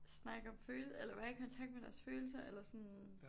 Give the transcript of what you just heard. Snakke om følelser eller være i kontakt med deres følelser eller sådan